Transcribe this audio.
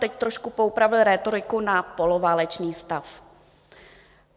Teď trošku poopravil rétoriku na poloválečný stav.